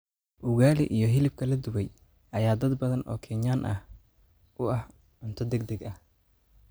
Ugali iyo hilibka la dubay ayaa dad badan oo Kenyaan ah u ah cunto degdeg ah.